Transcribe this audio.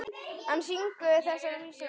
Hann syngur þessar vísur oft.